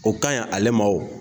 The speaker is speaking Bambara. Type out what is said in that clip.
O ka ɲi ale ma wo.